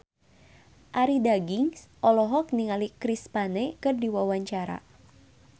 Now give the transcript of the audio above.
Arie Daginks olohok ningali Chris Pane keur diwawancara